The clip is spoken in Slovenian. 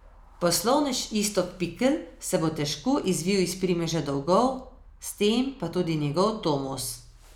Poslovnež Iztok Pikl se bo težko izvil iz primeža dolgov, s tem pa tudi njegov Tomos.